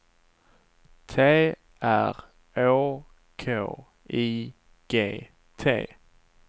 T R Å K I G T